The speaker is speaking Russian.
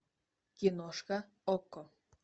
киношка окко